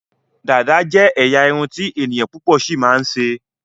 Dàda jé ẹyà Irun ti ènìyàn púpò sí ma ṣe.